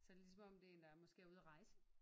Så det er ligesom om det er en der er måske ude at rejse